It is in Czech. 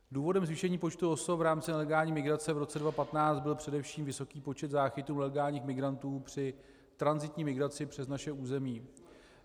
Důvodem zvýšení počtu osob v rámci nelegální migrace v roce 2015 byl především vysoký počet záchytu nelegálních migrantů při tranzitní migraci přes naše území.